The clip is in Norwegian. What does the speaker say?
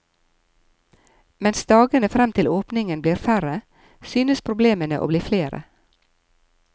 Mens dagene frem til åpningen blir færre, synes problemene å bli flere.